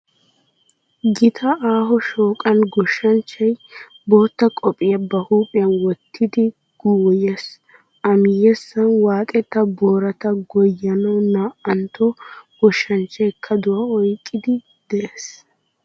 Gita aaho shooqan goshshanchchay bootta qophiya ba huuphiyan wottidi goyyees. A miyyessan waaxetta boorata goyyanawu naa"antto goshanchchay kaduwa oyqqiiddi de"es.